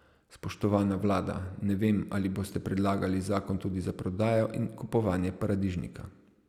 Spoštovana vlada, ne vem, ali boste predlagali zakon tudi za prodajo in kupovanje paradižnika?